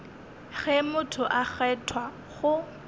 ge motho a kgethwa go